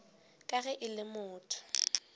ka ge e le motho